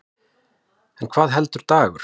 En hvað heldur Dagur?